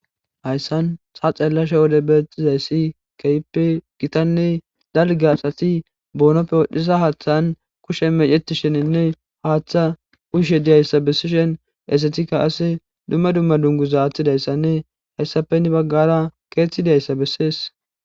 Hayssan ta xeellashe wode betizayssi kehipe gitanne dalge asati boonoppe wodhiza haaththan kushe meceti sheninne haaththa uyishshe diyayssa bessishin hesatika qase dumma dumma dunguza aaththidayssanne hayssape henni baggara keeththiati diayssa bessees.